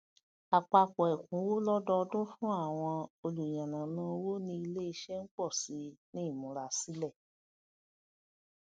àpapọ ẹkúnwó lódòdún fún àwọn olù yànnàná owó ní iléiṣẹ ń pọ síi ní ìmúrasílẹ